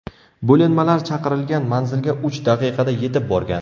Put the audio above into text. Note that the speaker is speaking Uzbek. Bo‘linmalar chaqirilgan manzilga uch daqiqada yetib borgan.